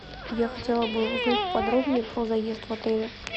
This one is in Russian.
я хотела бы узнать подробнее про заезд в отеле